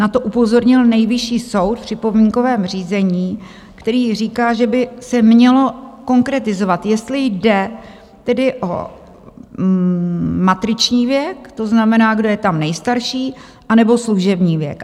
Na to upozornil Nejvyšší soud v připomínkovém řízení, který říká, že by se mělo konkretizovat, jestli jde tedy o matriční věk, to znamená, kdo je tam nejstarší, anebo služební věk.